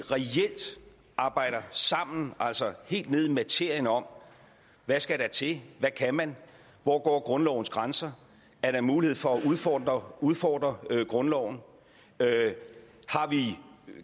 arbejde sammen altså helt ned i materien om hvad skal der til hvad kan man hvor går grundlovens grænser er der mulighed for at udfordre udfordre grundloven har vi